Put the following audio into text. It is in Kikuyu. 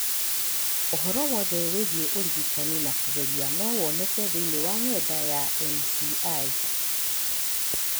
Ũhoro wothe wĩgiĩ ũrigitani wa kũgerio no woneke thĩinĩ wa webusaiti ya NCI.